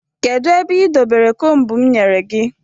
Kedụ ebe ị dobere kombu m nyere gị?